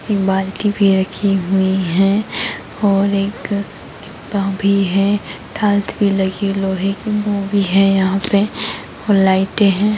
एक बाल्टी भी रखी हुई है और एक जूता भी है टायिल्स भी लगी लोहे की बोरी है यहाँ पे और लाइटे है।